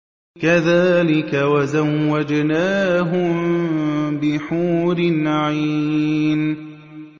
كَذَٰلِكَ وَزَوَّجْنَاهُم بِحُورٍ عِينٍ